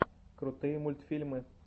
крутые мультфильмы